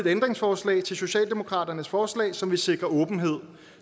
ændringsforslag til socialdemokratiets forslag som vil sikre åbenhed